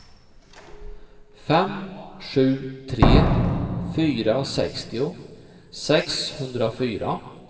fem sju tre fyra sextio sexhundrafyra